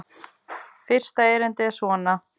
Fyrsta erindi er svona